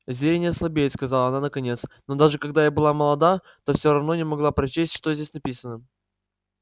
зрение слабеет сказала она наконец но даже когда я была молода то все равно не могла прочесть что здесь написано